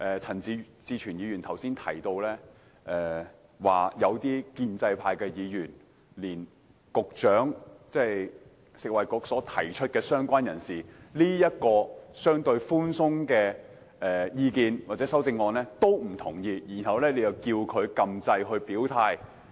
陳志全議員剛才提到，有些建制派議員連食物及衞生局局長所提出有關"相關人士"這個相對寬鬆的修正案也不認同，然後便期望他在表決時按鈕表態。